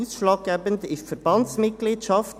Ausschlaggebend ist die Verbandsmitgliedschaft.